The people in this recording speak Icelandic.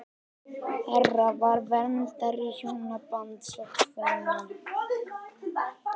Hera var verndari hjónabands og kvenna.